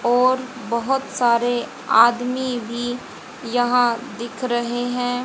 और बहोत सारे आदमी भी यहां दिख रहे हैं।